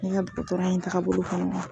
Ne ka dɔgɔtɔrɔya in tagabolo kɔnɔ